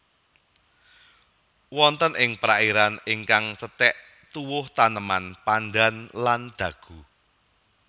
Wonten ing perairan ingkang cethek tuwuh taneman pandan lan dagu